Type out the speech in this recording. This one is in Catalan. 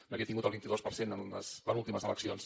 n’havia tingut el vint dos per cent en les penúltimes eleccions